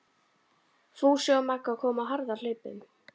Fúsi og Magga komu á harðahlaupum.